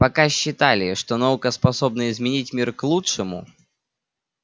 пока считали что наука способна изменить мир к лучшему